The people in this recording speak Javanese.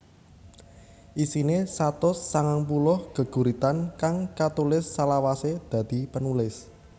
Isine satus sangang puluh geguritan kang katulis salawase dadi penulis